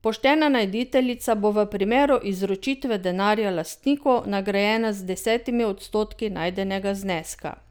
Poštena najditeljica bo v primeru izročitve denarja lastniku nagrajena z desetimi odstotki najdenega zneska.